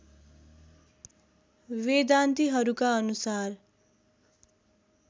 वेदान्तिहरूका अनुसार